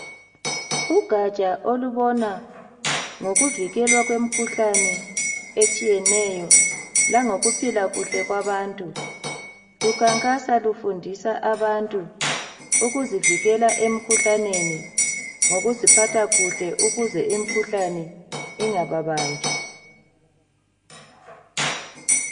Ugaja olubona ngokuvikelwa kwemikhuhlane etshiyeneyo, langokuphila kuhle kwabantu. Lukhankasa lufundisa abantu ukuzivikela emikhuhlaneni, ngokuziphatha kuhle ukuze imikhuhlane ingababambi.